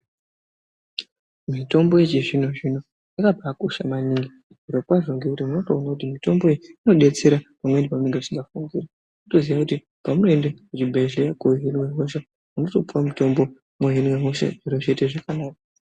Mitombo yechizvino zvino yakakosha maningi zviro kwazvo unobaona kuti mutombo inodetsera pamweni pausingafunguri unotoziya paunenoenda kuchibhedhlera kohinwa hosha inotopuwa mutombo wohinwa hosha zviro zvoita zvakanaka.